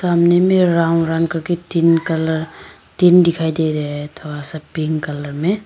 सामने में राऊ राऊ करके तीन कलर तीन दिखाई दे रहा है थोड़ा सा पिंक कलर में।